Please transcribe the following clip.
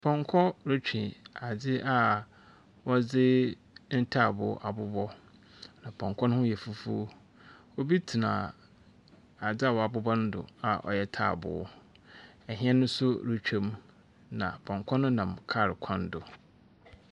Pɔnkɔ retwe adze a wɔdze ntaaboo abobɔ, na pɔnkɔ no yɛ fufuo. Obi tena ade a wɔabobɔ do a ɔyɛ taaboo. Ɛhɛn nso retwam, na pɔnkɔ no nam kaa kwan do.